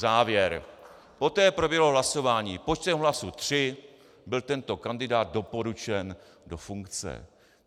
Závěr: "Poté proběhlo hlasování, počtem hlasů tři byl tento kandidát doporučen do funkce."